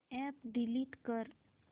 app delete कर